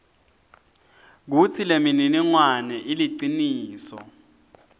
kutsi lemininingwane iliciniso